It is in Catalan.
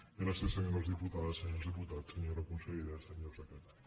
gràcies senyores diputades senyors diputats senyora consellera senyor secretari